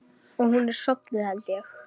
Og hún er sofnuð, held ég.